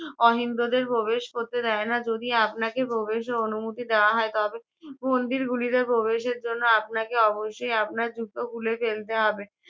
অহিন্দুদের প্রবেশ করতে দেয় না যদি আপনাকে প্রবেশের অনুমতি দেওয়া হয় তবে মন্দির গুলিতে প্রবেশের জন্য আপনাকে অবশ্যই আপনার জুতো খুলে ফেলতে হবে।